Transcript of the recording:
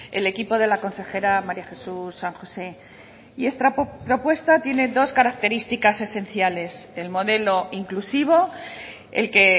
el equipo de la consejera maría jesús san josé y esta propuesta tiene dos características esenciales el modelo inclusivo el que